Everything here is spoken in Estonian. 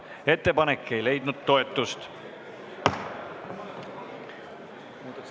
Ettepanek ei leidnud toetust.